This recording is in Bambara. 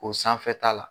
O sanfɛta la